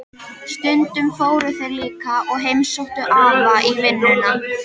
Stundum fóru þeir líka og heimsóttu afa í vinnuna.